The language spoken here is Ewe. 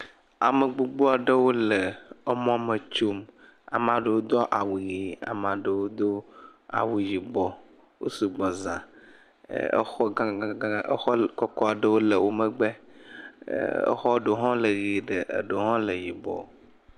Amegbpogbo aɖewo le emɔ me tsom. Ame aɖewo do awu ʋi amea ɖewo do awu yibɔ. Wosu gbɔ zã. Exɔ gãgãgã, exɔ kɔkɔ ɖewo le wo megbe, exɔ ɖewo hã le ʋie eɖewo hã le yibɔ.